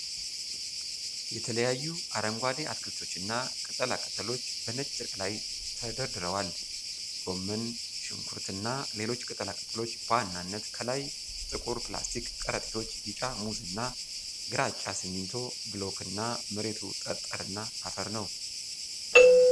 የተለያዩ አረንጓዴ አትክልቶችና ቅጠላ ቅጠሎች በነጭ ጨርቅ ላይ ተደርድረዋል። ጎመን፣ ሽንኩርት እና ሌሎች ቅጠላ ቅጠሎች በዋናነት ከላይ ጥቁር ፕላስቲክ ከረጢቶች፣ ቢጫ ሙዝ እና ግራጫ ሲሚንቶ ብሎክ እና መሬቱ ጠጠርና አፈር ነው።